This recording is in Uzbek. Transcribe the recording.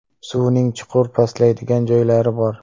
Suvning chuqur pastlaydigan joylari bor.